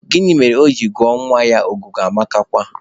Gịnị mere o ji gụọ nwa ya Ọgụgụamakwa?